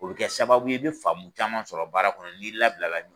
O bɛ kɛ sababu ye i bɛ faamu caman sɔrɔ baara kɔnɔ n'i labila la.